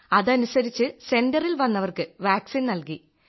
അതനുസരിച്ച് സെന്ററിൽ വന്നവർക്ക് വാക്സിൻ നൽകി